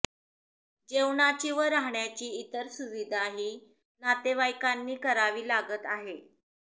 जेवणाची व राहण्याची इतर सुविधा ही नातेवाईकांनी करावी लागत आहे